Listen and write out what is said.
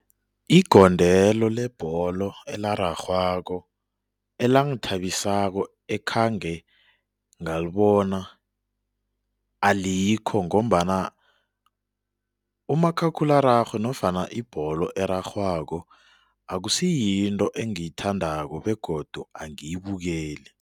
Igondelo lebholo elararhwako elangithabisako ekhange ngalibona alikho ngombana umakhakhulararhwe nofana ibholo erarhwako akusiyinto engiyithandako begodu angiyibukeli.